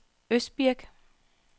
Østbirk